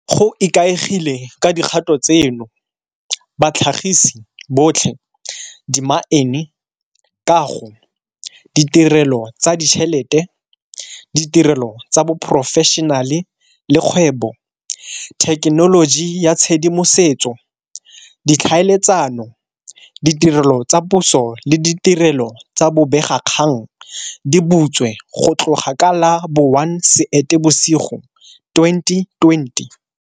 Go ikaegile ka dikgato tseno, batlhagisi botlhe, dimaene, kago, ditirelo tsa ditšhelete, ditirelo tsa boporofešenale le kgwebo, thekenoloji ya tshedimosetso, ditlhaeletsano, ditirelo tsa puso le ditirelo tsa bobegakgang, di butswe go tloga ka la bo 1 Seetebosigo 2020.